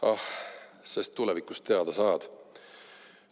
Ah, sest tulevikus teada saad.